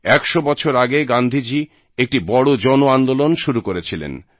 100 বছর আগে গান্ধীজী একটি বড় জনআন্দোলন শুরু করেছিলেন